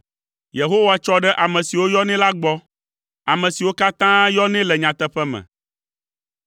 Yehowa tsɔ ɖe ame siwo yɔnɛ la gbɔ, ame siwo katã yɔnɛ le nyateƒe me.